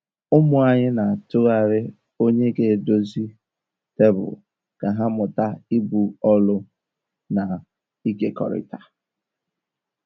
Ụmụ anyị n'atụgharị onye ga edozie tebụl ka ha mụta ibu ọlụ na ịkekọrịta.